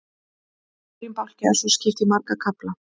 Hverjum bálki er svo skipt í marga kafla.